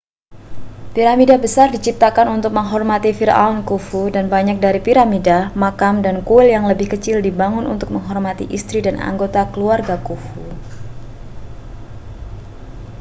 piramida besar diciptakan untuk menghormati firaun khufu dan banyak dari piramida makam dan kuil yang lebih kecil dibangun untuk menghormati istri dan anggota keluarga khufu